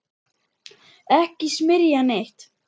Ekki smyrja neitt.